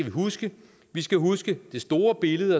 huske vi skal huske det store billede